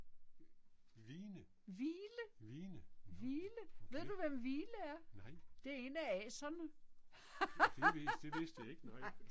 Hvine? Hvine, nåh, okay. Nej. Det vidste det vidste jeg ikke nej